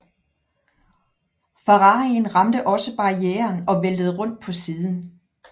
Ferrarien ramte også barrieren og væltede rundt på siden